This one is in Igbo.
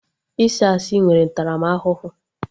Ịsị asị nwere ntaramahụhụ